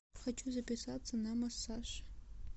хочу записаться на массаж